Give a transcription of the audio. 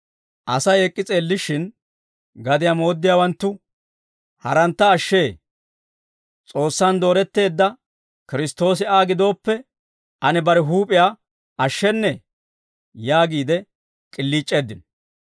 Asay ek'k'i s'eellishshin, gadiyaa mooddiyaawanttu, «Harantta ashshee; S'oossaan dooretteedda Kiristtoosi Aa gidooppe, ane bare huup'iyaa ashshennee?» yaagiide k'iliic'eeddino.